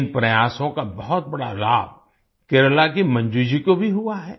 इन प्रयासों का बहुत बड़ा लाभ केरला की मंजू जी को भी हुआ है